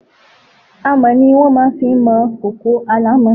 Àmọ́ ni wọ́n máa fi ń mọ kòkò alámọ̀.